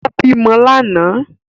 Ó bímọ lánàá